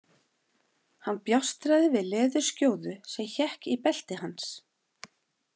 Hann bjástraði við leðurskjóðu sem hékk í belti hans.